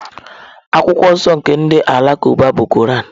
Akwụkwọ nsọ nke ndị Alakụba bụ Koran.